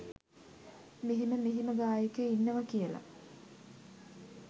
මෙහෙම මෙහෙම ගායකයො ඉන්නවා කියල.